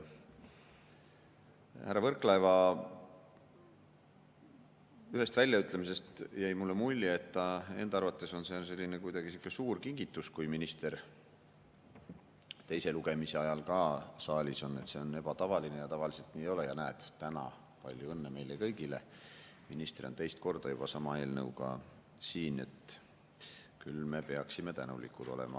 Härra Võrklaeva ühest väljaütlemisest jäi mulle mulje, et tema arvates on kuidagi sihuke suur kingitus, kui minister teise lugemise ajal saalis on, et see on ebatavaline ja tavaliselt nii ei ole ja näed täna, palju õnne meile kõigile, minister on teist korda juba sama eelnõuga siin ja küll me peaksime tänulikud olema.